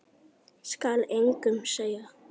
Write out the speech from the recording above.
Skal engum segja.